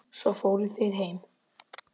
Svo fóru þeir heim.